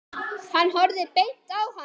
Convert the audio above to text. Hann horfði beint á hana.